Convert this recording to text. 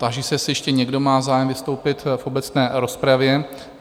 Táži se, jestli ještě někdo má zájem vystoupit v obecné rozpravě?